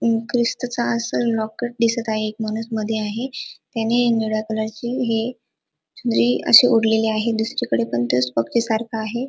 अ क्रिसतच अस लॉकेट दिसत आहे एक माणूस मध्ये आहे त्याने निळ्या कलरची हे चुनरी अशी ओढलेली दुसरीकडे पण तोच आहे.